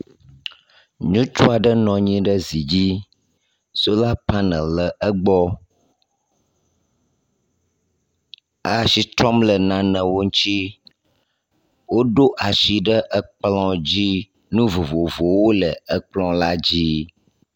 Nyutsuaɖe nɔnyi ɖe zidzi, sola panel le egbɔ. E asi trɔm le nanewo ŋtsi. Wó ɖo asì ɖe ekplɔ dzi, nu vovovowó le ekplɔ̃ la dzi